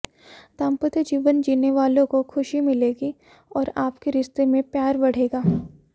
दांपत्य जीवन जीने वालों को खुशी मिलेगी और आपके रिश्ते में प्यार बढ़ेगा